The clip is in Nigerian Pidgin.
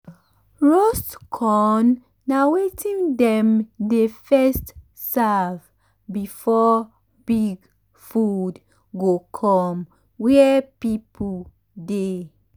roast corn na wetin dem dey first serve before big food go come where people dey.